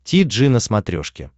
ти джи на смотрешке